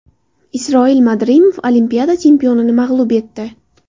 Isroil Madrimov Olimpiada chempionini mag‘lub etdi.